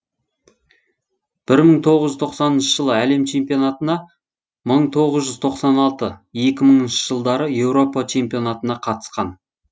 бір мың тоғыз жүз тоқсаныншы жылы әлем чемпионатына мың тоғыз жүз тоқсан алты екі мыңыншы жылдары еуропа чемпионатына қатысқан